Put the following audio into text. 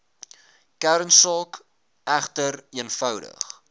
kernsaak egter eenvoudig